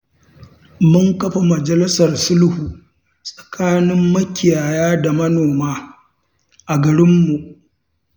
Mun kafa majalisar sulhu tsakanin makiyaya da manoma a garinmu.